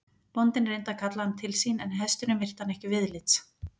Bóndinn reyndi að kalla hann til sín en hesturinn virti hann ekki viðlits.